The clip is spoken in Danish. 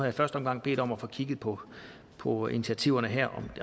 i første omgang bedt om at få kigget på på initiativerne her